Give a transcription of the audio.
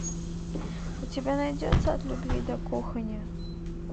у тебя найдется от любви до кухни